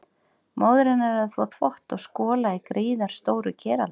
Móðir hennar er að þvo þvott og skola í gríðarstóru keraldi.